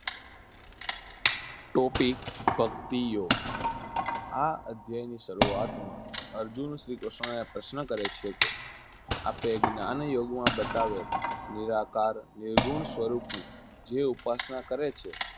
topic ભક્તિયોગ આ અધ્યાયની શરૂઆતમાં અર્જુન શ્રીકૃષ્ણને પ્રશ્ન કરે છે કે આપે જ્ઞાનયોગમાં બતાવેલ નિરાકાર નિર્ગુણ સ્વરૂપની જે ઉપસના કરે છે